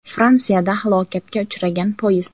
Fransiyada halokatga uchragan poyezd.